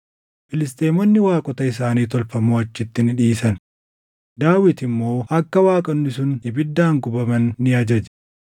Filisxeemonni waaqota isaanii tolfamoo achitti ni dhiisan; Daawit immoo akka waaqonni sun ibiddaan gubaman ni ajaje.